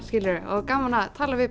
og gaman að tala við